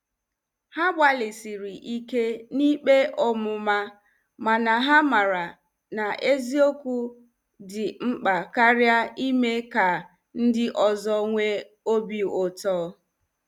Ha gbalịsiri ike na ikpe ọmụma mana ha maara na eziokwu dị mkpa karịa ime ka ndị ọzọ nwee obi ụtọ.